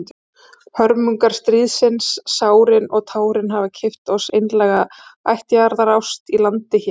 Hörmungar stríðsins, sárin og tárin, hafa keypt oss einlæga ættjarðarást í landi hér.